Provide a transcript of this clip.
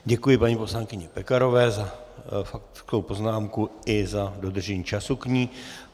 Děkuji paní poslankyni Pekarové za faktickou poznámku i za dodržení času k ní.